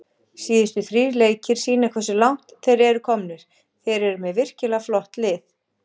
Síðustu þrír leikir sýna hversu langt þeir eru komnir, þeir eru með virkilega flott lið.